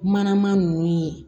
Manama ninnu ye